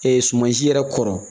sumansi yɛrɛ kɔrɔ